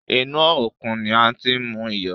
Inú òkun ni a ti ń mú iyọ̀.